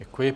Děkuji.